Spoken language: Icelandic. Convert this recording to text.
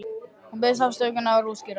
Hún biðst afsökunar og útskýrir það.